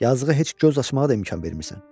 Yazığı heç göz açmağa da imkan vermirsən.